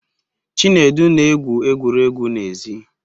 Chinedu na-egwu egwuregwu n'èzí